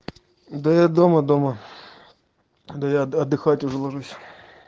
да я дома дома дома да я отдыхать уже ложусь